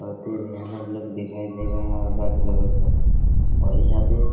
आते भी है न लोग दिखाई दे रहे हैं और यहाँ पर --